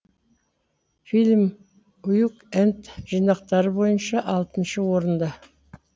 фильм уик энд жинақтары бойынша алтыншы орында